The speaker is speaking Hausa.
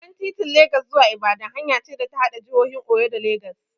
Babban titin Legas zuwa Ibadan hanya ce da ta haɗa jihohin Oyo da Legas.